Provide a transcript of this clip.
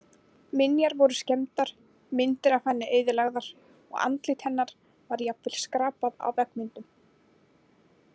Minjar voru skemmdar, myndir af henni eyðilagðar og andlit hennar var jafnvel skrapað af veggmyndum.